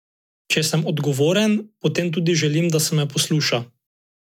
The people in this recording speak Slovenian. Če sem odgovoren, potem tudi želim, da se me posluša.